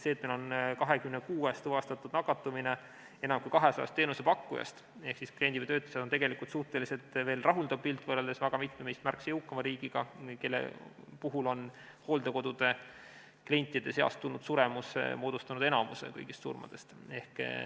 Meil on nakatumine tuvastatud 26 teenusepakkujas enam kui 200-st ehk pilt on suhteliselt rahuldav võrreldes väga mitme meist märksa jõukama riigiga, kus on hooldekodude klientide suremus moodustanud enamuse kõigist surmadest.